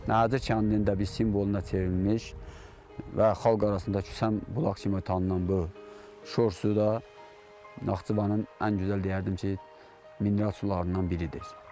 Nəhəcir kəndinin də bir simvoluna çevrilmiş və xalq arasında küsən bulaq kimi tanınan bu şor suyu da Naxçıvanın ən gözəl deyərdim ki, mineral sularından biridir.